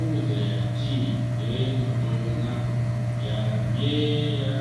ọ wetara ya tii wee nọdụ n’akụkụ ya nye ya